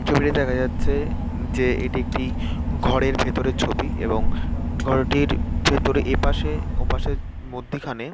ছবিতে দেখা যাচ্ছে যে এটি একটি ঘরের ভেতরের ছবি এবং ঘরটির ভিতরে এপাশে ওপাশের মধ্যিখানে--